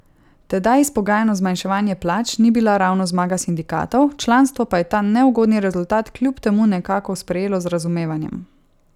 Tedaj izpogajano zmanjševanje plač ni bila ravno zmaga sindikatov, članstvo pa je ta neugodni rezultat kljub temu nekako sprejelo z razumevanjem.